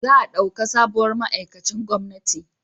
Za a dauka sabuwar ma'aikacin gwamnati